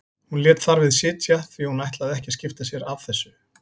Hún lét þar við sitja því hún ætlaði ekki að skipta sér af þessu.